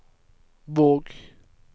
Våg